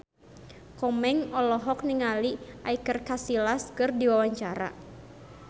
Komeng olohok ningali Iker Casillas keur diwawancara